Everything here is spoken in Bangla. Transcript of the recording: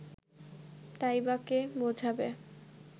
তাই বা কে বোঝাবে